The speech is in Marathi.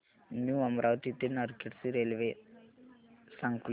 न्यू अमरावती ते नरखेड ची रेल्वे सांग प्लीज